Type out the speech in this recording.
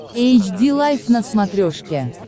эйч ди лайф на смотрешке